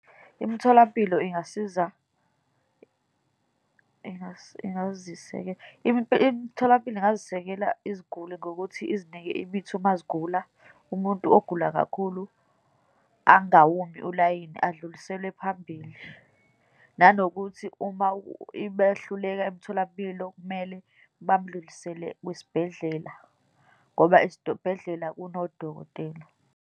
Imitholampilo ingasiza imitholampilo ingazisekela iziguli ngokuthi izinike imithi uma zigula, umuntu ogula kakhulu angawumi ulayini, adluliselwe phambili, nanokuthi uma beyahluleka emtholampilo kumele bamdlulisele kwisibhedlela, ngoba esibhedlela kunodokotela.